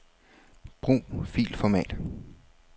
Brug filformat.